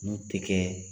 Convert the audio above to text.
N'u tɛ kɛ